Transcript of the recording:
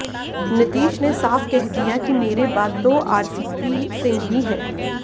नीतीश ने साफ़ कह दिया कि मेरे बाद तो आरसीपी सिंह ही हैं